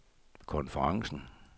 konferencen